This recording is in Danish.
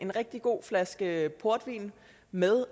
rigtig god flaske portvin med